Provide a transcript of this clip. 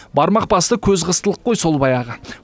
бармақ басты көз қыстылық қой сол баяғы